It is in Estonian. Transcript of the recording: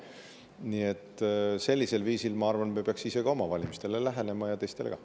Nii et sellisel viisil, ma arvan, me peaks oma ja teiste valimistele lähenema.